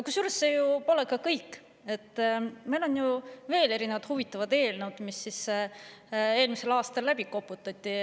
Kusjuures see pole veel kõik: meil on ju veel huvitavaid eelnõusid, mis eelmisel aastal ära koputati.